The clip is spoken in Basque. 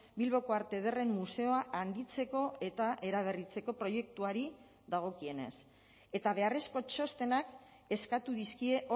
bilboko arte ederren museoa handitzeko eta eraberritzeko proiektuari dagokienez eta beharrezko txostenak eskatu dizkie